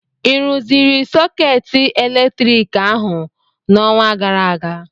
ị rụziri sọkeetị eletriki ahụ n'ọnwa gara aga?